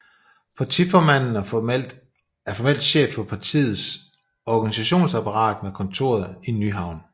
Partiformanden er formelt chef for partiets organisationsapparat med kontoret i Nyhavn